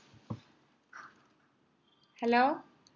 hello